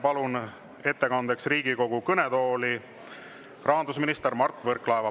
Palun ettekandeks Riigikogu kõnetooli rahandusminister Mart Võrklaeva.